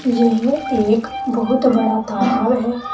यह एक बहुत बड़ा तालाब है।